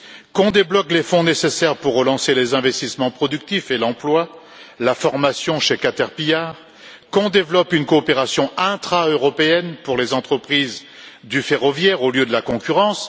Qu'on débloque les fonds nécessaires pour relancer les investissements productifs et l'emploi, la formation chez Cater pillard, qu'on développe une coopération intraeuropéenne pour les entreprises du ferroviaire, au lieu de la concurrence.